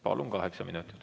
Palun, kaheksa minutit!